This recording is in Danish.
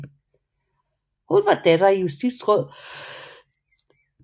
Hun var datter af justitsråd Diderik Christian Braës til Kokkedal